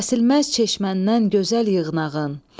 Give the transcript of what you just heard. Kəsilməz çeşmədən gözəl yığnağın.